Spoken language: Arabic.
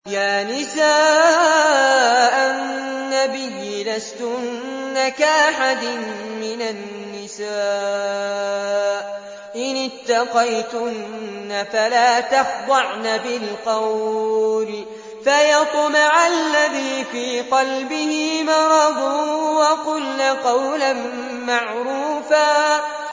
يَا نِسَاءَ النَّبِيِّ لَسْتُنَّ كَأَحَدٍ مِّنَ النِّسَاءِ ۚ إِنِ اتَّقَيْتُنَّ فَلَا تَخْضَعْنَ بِالْقَوْلِ فَيَطْمَعَ الَّذِي فِي قَلْبِهِ مَرَضٌ وَقُلْنَ قَوْلًا مَّعْرُوفًا